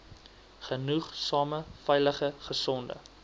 genoegsame veilige gesonde